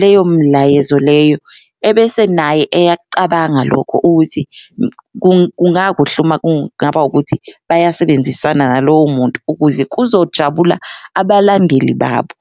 leyo mlayezo leyo ebese naye eyakucabanga lokho ukuthi kungakuhle uma kungaba ukuthi bayasebenzisana nalowo muntu ukuze kuzojabula abalandeli babo.